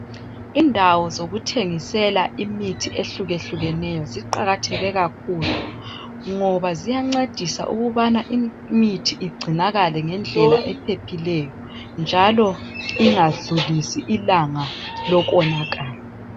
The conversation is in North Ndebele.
Indawo zokuthengisela imithi ehlukehlukeneyo ziqakatheke kakhulu ngoba ziyancedisa ukubana imithi ugcinakale ngendlela ephephileyo njalo ingadlulisi ilanga lokonakala.